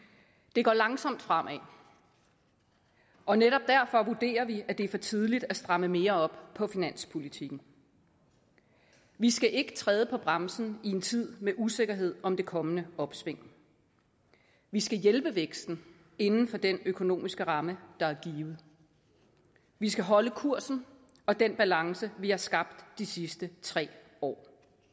det går langsomt fremad og netop derfor vurderer vi at det er for tidligt at stramme mere op på finanspolitikken vi skal ikke træde på bremsen i en tid med usikkerhed om det kommende opsving vi skal hjælpe væksten inden for den økonomiske ramme der er givet vi skal holde kursen og den balance vi har skabt de sidste tre år